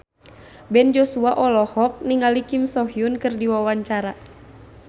Ben Joshua olohok ningali Kim So Hyun keur diwawancara